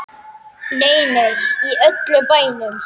Nei, nei, í öllum bænum.